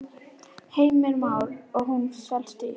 Heimir Már: Og hún felst í?